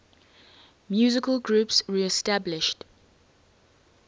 musical groups reestablished